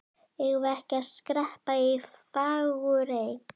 Eigum við ekki að skreppa í Fagurey?